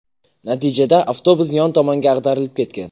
Natijada avtobus yon tomonga ag‘darilib ketgan.